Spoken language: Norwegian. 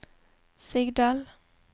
Sigdal